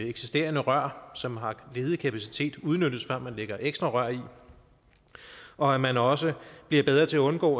eksisterende rør som har ledig kapacitet udnyttes før man lægger ekstra rør i og at man også bliver bedre til at undgå